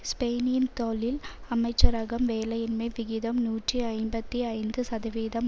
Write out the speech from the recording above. ஸ்பெயினின் தோழில் அமைச்சரகம் வேலையின்மை விகிதம் நூற்றி ஐம்பத்தி ஐந்து சதவிதம்